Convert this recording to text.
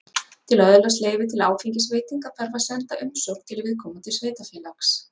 til að öðlast leyfi til áfengisveitinga þarf að senda umsókn til viðkomandi sveitarfélags